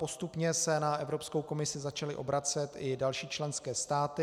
Postupně se na Evropskou komisi začaly obracet i další členské státy.